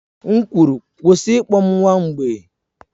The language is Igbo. M kwuru, kwụsị ịkpọ m nwa mgbei!